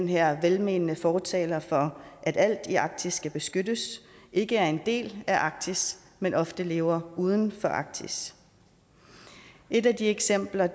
her velmenende fortalere for at alt i arktis skal beskyttes ikke er en del af arktis men ofte lever uden for arktis et af de eksempler